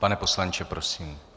Pane poslanče, prosím.